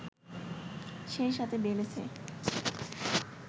সেই সাথে বেড়েছে